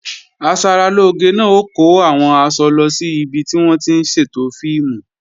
Asaralóge náà ó kó àwọn aṣọ lọ sí ibi tí wọ́n ti ń ṣètò fíìmù